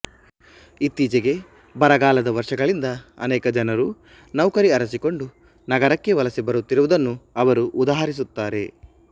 ಇತ್ತೀಚೆಗೆ ಬರಗಾಲದ ವರ್ಷಗಳಿಂದ ಅನೇಕ ಜನರು ನೌಕರಿ ಅರಸಿಕೊಂಡು ನಗರಕ್ಕೆ ವಲಸೆ ಬರುತ್ತಿರುವುದನ್ನು ಅವರು ಉದಾಹರಿಸುತ್ತಾರೆ